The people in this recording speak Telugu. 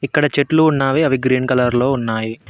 ఇక్కడ చెట్లు ఉన్నావి అవి గ్రీన్ కలర్ లో ఉన్నాయి.